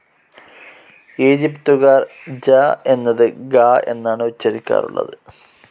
ഈജിപ്തുകാർ ജ എന്നത് ഗ എന്നാണ് ഉച്ചരിക്കാറുള്ളത്.